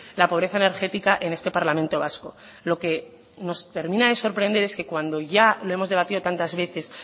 la pobreza energética en este parlamento vasco lo que nos termina de sorprender es que cuando ya lo hemos debatido tantas veces